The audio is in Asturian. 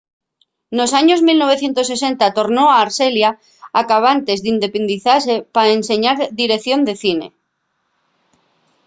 nos años 1960 tornó a arxelia acabantes d'independizase pa enseñar direición de cine